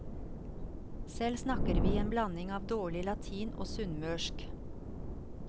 Selv snakker vi en blanding av dårlig latin og sunnmørsk.